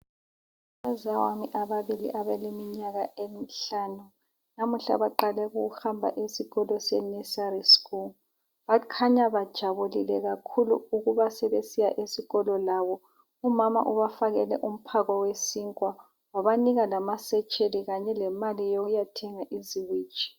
Abazawami ababili abaleminyaka emihlanu namuhla baqale ukuhamba esikolo se nursery school bakhanya bajabulile kakhulu ukuba sebesiya esikolo labo umama ubafakele umphako wesinkwa wabanika lamasetsheli Kanye lemali yokuyathenga iziwiji.